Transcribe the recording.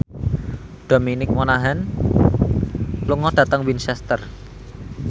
Dominic Monaghan lunga dhateng Winchester